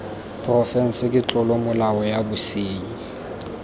porofense ke tlolomolao ya bosenyi